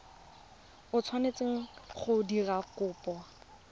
o tshwanetseng go dira kopo